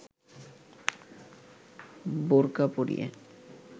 বোরকা পরিয়ে